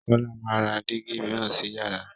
Kọ́la máa ra digi mìíràn si yàrá